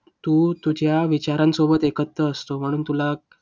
तो तुझ्या विचारांसोबत एकत्र असतो म्हणून तुला